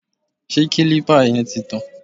Ṣé kílípà yẹn ti tàn?